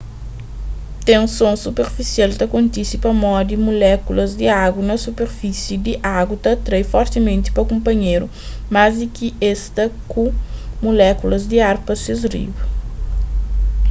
tenson superfisial ta kontise pamodi mulékulas di agu na superfísi di agu ta atrai fortimenti pa kunpanhéru más di ki es ta ku mulékulas di ar pa ses riba